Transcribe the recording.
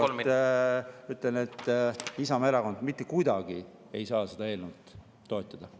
Veel kord ütlen, et Isamaa Erakond ei saa mitte kuidagi seda eelnõu toetada.